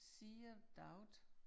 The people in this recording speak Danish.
Sea of doubt